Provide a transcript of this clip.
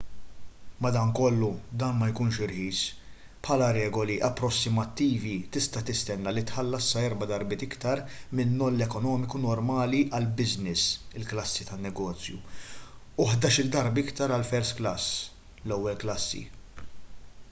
madankollu dan ma jkunx irħis: bħala regoli approssimattivi tista’ tistenna li tħallas sa erba’ darbiet aktar min-noll ekonomiku normali għall-business il-klassi tan-negozju u ħdax-il darba iktar għall-first class l-ewwel klassi!